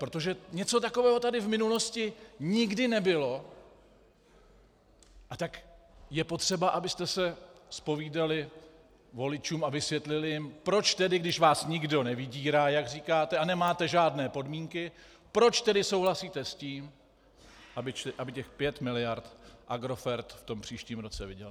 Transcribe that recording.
Protože něco takového tady v minulosti nikdy nebylo, a tak je potřeba, abyste se zpovídali voličům a vysvětlili jim, proč tedy, když vás nikdo nevydírá, jak říkáte, a nemáte žádné podmínky, proč tedy souhlasíte s tím, aby těch pět miliard Agrofert v tom příštím roce vydělal.